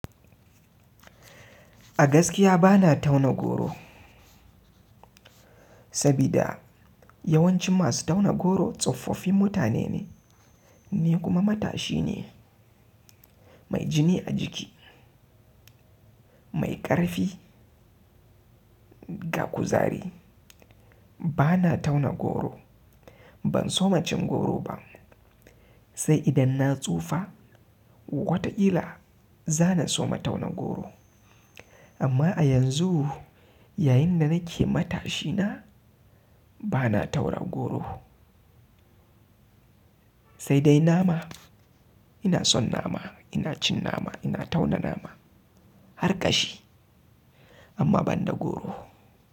A gaskiya bana tauna goro. Sabida yawancin masu tauna goro tsofaffin mutane ne, ni kuma matashi ne mai jini a jiki, mai ƙarfi ga kuzari. Bana tauna goro, ban soma cin goro ba, sai idan na tsufa wata ƙila za na soma tauna goro. Amma a yanzu yayin da nake matashina bana taura goro. Sai dai nama ina son nama, ina cin nama, ina tauna nama har ƙashi. Amma ban da goro.